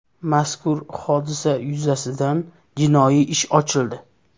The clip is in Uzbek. Mazkur hodisa yuzasidan jinoiy ish ochildi.